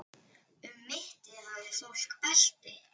Um mittið hafði fólk belti.